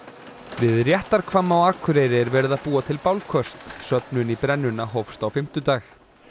við á Akureyri er verið að búa til bálköst söfnun í brennuna hófst á fimmtudag